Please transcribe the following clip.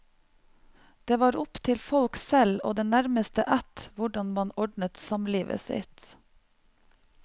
Det var opp til folk selv og den nærmeste ætt hvordan man ordnet samlivet sitt.